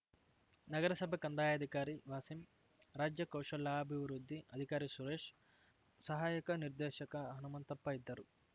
ನಗರಸಭೆ ಕಂದಾಯಾಧಿಕಾರಿ ವಾಸಿಂ ರಾಜ್ಯ ಕೌಶಲ್ಯಾಭಿವೃದ್ಧಿ ಅಧಿಕಾರಿ ಸುರೇಶ್‌ ಸಹಾಯಕ ನಿರ್ದೇಶಕ ಹನುಮಂತಪ್ಪ ಇದ್ದರು